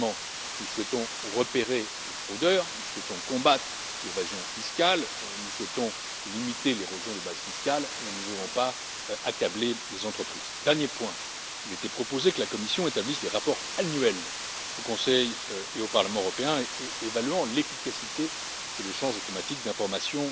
Honnêtement, nous souhaitons repérer les fraudeurs, nous souhaitons combattre l'évasion fiscale, nous souhaitons limiter l'érosion des bases fiscales, nous ne voulons pas accabler les entreprises. Dernier point, il était proposé que la Commission établisse des rapports annuels au Conseil et au Parlement européen qui évaluent l'efficacité de l'échange automatique d'informations